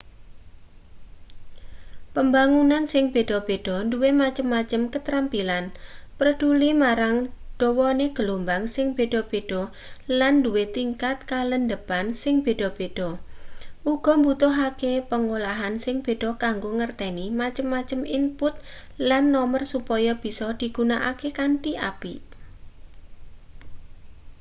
pambangunan sing beda-beda duwe macem-macem katrampilan preduli marang dawane gelombang sing beda-beda lan duwe tingkat kalandhepan sing beda-beda uga mbutuhake pangolahan sing beda kanggo ngerteni macem-macem input lan nomer supaya bisa digunakake kanthi apik